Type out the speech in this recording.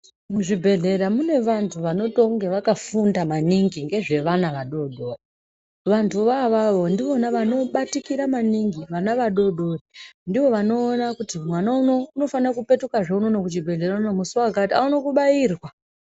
Muzvibhedhlera mune vantu vanotonge vakafunda maningi ngezve vana vadoodori. Vantuvo avavo ndivona vanobatikira maningi vana vadoodori. Ndivo vanoona kuti mwana unowu unofanire kupetukazve unono kuchibhedhlera unono musi wakati aone kubayirwa.